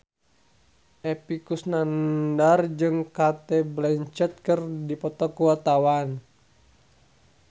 Epy Kusnandar jeung Cate Blanchett keur dipoto ku wartawan